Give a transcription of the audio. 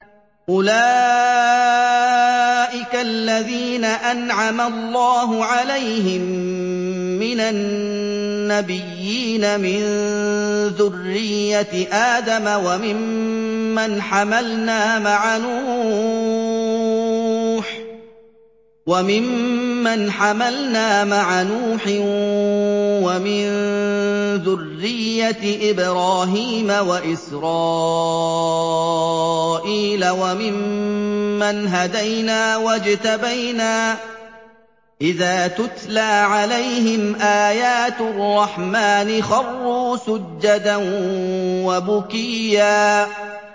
أُولَٰئِكَ الَّذِينَ أَنْعَمَ اللَّهُ عَلَيْهِم مِّنَ النَّبِيِّينَ مِن ذُرِّيَّةِ آدَمَ وَمِمَّنْ حَمَلْنَا مَعَ نُوحٍ وَمِن ذُرِّيَّةِ إِبْرَاهِيمَ وَإِسْرَائِيلَ وَمِمَّنْ هَدَيْنَا وَاجْتَبَيْنَا ۚ إِذَا تُتْلَىٰ عَلَيْهِمْ آيَاتُ الرَّحْمَٰنِ خَرُّوا سُجَّدًا وَبُكِيًّا ۩